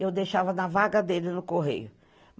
Eu deixava na vaga dele no Correio.